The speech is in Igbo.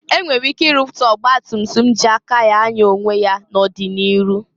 E nwere ike ị rụpụta ọgbatumtum ji aka ya anya onwe ya n'ọdị n'iru.